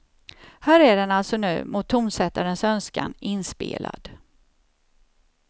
Här är den alltså nu, mot tonsättarens önskan, inspelad.